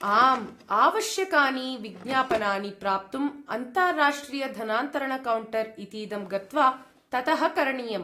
आम्, आवश्यकानि विज्ञापनानि प्राप्तुम् अन्ताराष्ट्रियधनान्तरणकौण्टर् इतीदं गत्वा ततः करणीयम्।